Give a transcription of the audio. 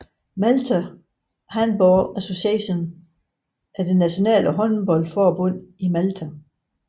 Malta Handball Association er det nationale håndboldforbund i Malta